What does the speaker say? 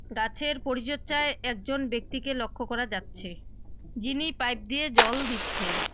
গাছের পরিচর্চায় একজন ব্যক্তিকে লক্ষ্য করা যাচ্ছে যিনি পাইপ দিয়ে জল দিচ্ছেন।